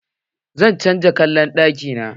Zan canza kallan ɗaki na.